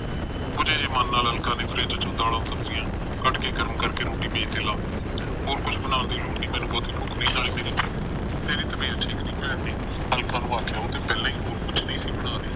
ਬੁੱਜੇ ਜਿਹੇ ਮਨ ਨਾਲ ਅਲਕਾ ਨੇ ਫਰਿੱਜ ਚੋ ਦਾਲਾਂ ਸਬਜਿਆ ਕੱਡ ਕੇ ਗਰਮ ਕਰਕੇ ਰੋਟੀ ਮੇਜ ਤੇ ਲਾਤੀ ਹੋਰ ਕੁਛ ਬਣਾਉਣ ਦੀ ਲੋੜ ਨੀ ਮੈਨੂੰ ਬਹੁਤੀ ਭੁਖ ਨੀ ਨਾਲੇ ਮੇਰੀ ਤੇਰੀ ਤਬੀਅਤ ਠੀਕ ਨਹੀਂ ਭੈਣ ਨੇ ਅਲਕਾ ਨੂੰ ਆਖਿਆ ਉਹ ਤੇ ਪਹਿਲਾ ਹੋਰ ਕੁਛ ਨਹੀਂ ਸੀ ਬਣਾ ਰਹੀ